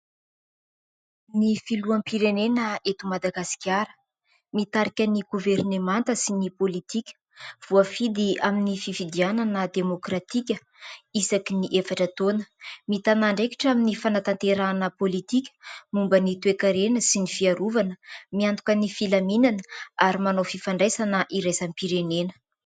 Ny Filoham-pirenena eto Madagasikara mitarika ny Governemanta sy ny politika; voafidy amin'ny fifidianana demokratika isaky ny efatra taona; mitàna andraikitra amin'ny fanatanterahana politika, momba ny toe-karena sy ny fiarovana ; miantoka ny filaminana ary manao fifandraisana iraisam-pirenena.